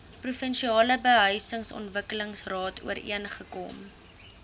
provinsiale behuisingsontwikkelingsraad ooreengekom